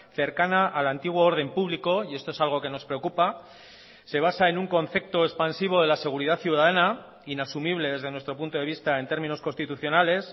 cercana al antiguo orden público y esto es algo que nos preocupa se basa en un concepto expansivo de la seguridad ciudadana inasumible desde nuestro punto de vista en términos constitucionales